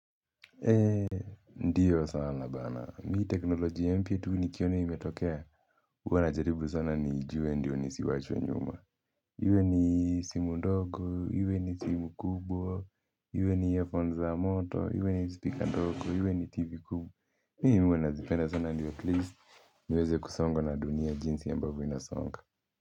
Ndiyo sana bana, mimi teknoloji ya mpya tu nikiono imetokea huwa najaribu sana nijue ndiyo nisiwachwe nyuma iwe ni simu ndogo, iwe ni simu kubwa, iwe ni earphones za moto, iwe ni speaker ndogo, iwe ni tv kubwa mimi huwa nazipenda sana ndiyo at least, miweze kusongo na dunia jinsi ambavyo inasonga.